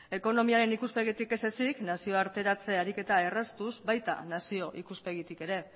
ekonomiaren ikuspegitik ez ezezik nazioarteratze eragiketa erraztuz baita nazio ikuspegitik ere